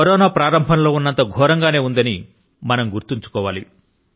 corona మొదట్లో ఉన్నంత ఘోరం గానే ఉందని మనం గుర్తుపెట్టుకోవాలి